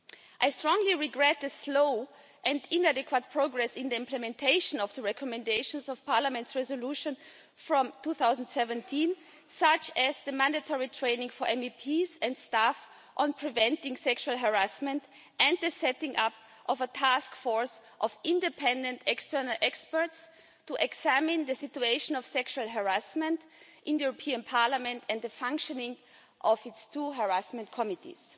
I strongly regret the slow and inadequate progress in the implementation of the recommendations of Parliament's resolution from 2017, such as mandatory training for MEPs and staff on preventing sexual harassment and the setting up of a task force of independent external experts to examine the situation of sexual harassment in the European Parliament and the functioning of its two harassment committees.